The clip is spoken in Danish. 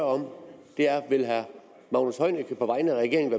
om er vil herre magnus heunicke på vegne af regeringen